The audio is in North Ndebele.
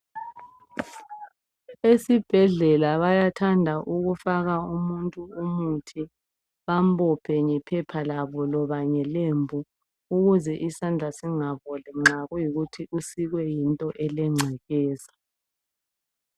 Esibhedlela bayathanda ukufaka umuntu umuthi bambophe ngephepha labo loba ngelembu ukuze isandla singaboli nxa kuyikuthi usikwe yinto elengcekeza.